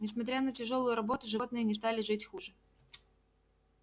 несмотря на тяжёлую работу животные не стали жить хуже